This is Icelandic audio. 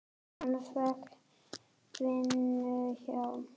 Hann fékk vinnu hjá